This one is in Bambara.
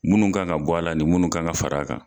Munnu kan ka bɔ a la ani munnu kan ka fara a kan.